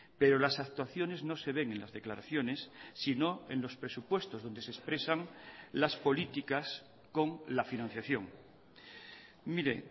pero las actuaciones no se ven en las declaraciones sino en los presupuestos donde se expresan las políticas con la financiación mire